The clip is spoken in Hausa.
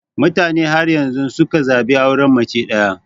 Mutane har yanzu sukan zaɓi auren mace daya.